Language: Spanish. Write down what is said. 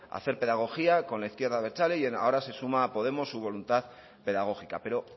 hacer pedagogía con la izquierda abertzale y ahora se suma a podemos su voluntad pedagógica pero